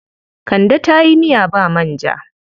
Kande ta yi miya ba manja.